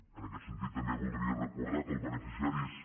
en aquest sentit també voldria recordar que el beneficiari és